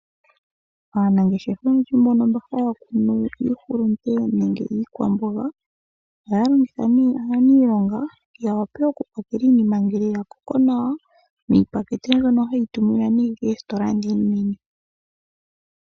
Aanangeshefa oyendji mbono haya kunu iihulunde, nenge iikwamboga, ohaya longitha nee aanilonga, ya wape okupakela iinima ngele oya koko nawa, miipakete mbyono hayi tuminwa koositola ndhi oonene.